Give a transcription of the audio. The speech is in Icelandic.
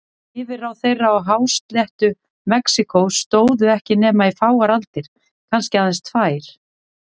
Yfirráð þeirra á hásléttu Mexíkó stóðu ekki nema í fáar aldir, kannski aðeins tvær.